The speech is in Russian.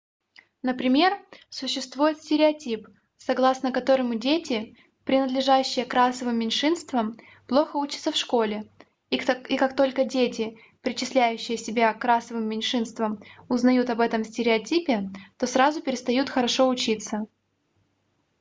например существует стереотип согласно которому дети принадлежащие к расовым меньшинствам плохо учатся в школе и как только дети причисляющие себя к расовым меньшинствам узнают об этом стереотипе то сразу перестают хорошо учиться